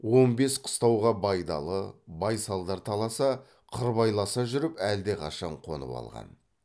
он бес қыстауға байдалы байсалдар таласа қырбайласа жүріп әлдеқашан қонып алған